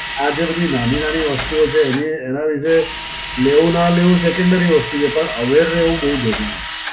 આ જે બધી નાની નાની વસ્તુઓ છે એને એના વિશે લેવું ના લેવું secondary વસ્તુ છે. પણ aware રહેવું બહું જરૂરી છે.